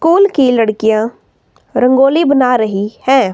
कोल की लड़कियां रंगोली बना रही हैं।